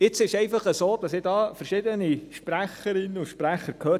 Jetzt ist es einfach so, dass ich verschiedene Sprecherinnen und Sprecher gehört habe: